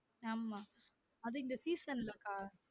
ஆமா அது இங்க season லா அக்கா